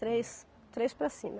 Três, três para cima.